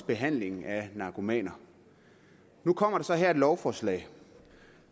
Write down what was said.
behandlingen af narkomaner nu kommer der så her et lovforslag